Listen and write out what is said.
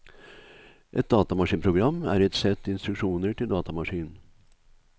Et datamaskinprogram er et sett instruksjoner til datamaskinen.